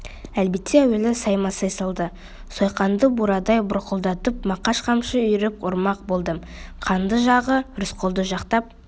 әлбетте әуелі саймасай салды сойқанды бурадай бұрқылдап мақаш қамшы үйіріп ұрмақ болды қанды жағы рысқұлды жақтап